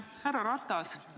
Härra Ratas!